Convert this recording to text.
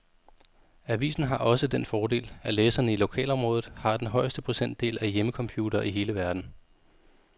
Avisen har også den fordel, at læserne i lokalområdet har den højeste procentdel af hjemmecomputere i hele verden.